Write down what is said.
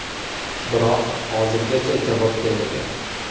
Biroq hozirgacha javob kelmagan.